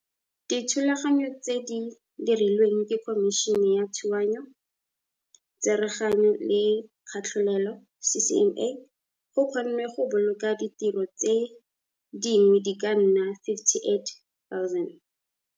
Ka dithulaganyo tse di dirilweng ke Khomišene ya Thuanyo, Tsereganyo le Katlholelo, CCMA, go kgonnwe go boloka ditiro tse dingwe di ka nna 58 000.